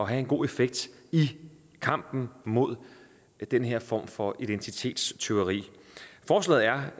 have en god effekt i kampen mod den her form for identitetstyveri forslaget er